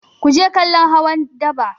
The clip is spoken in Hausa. Ku je kallon hawan daba!